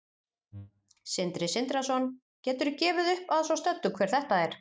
Sindri Sindrason: Geturðu gefið upp að svo stöddu hver þetta er?